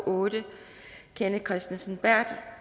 otte kenneth kristensen